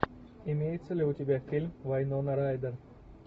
имеется ли у тебя фильм вайнона райдер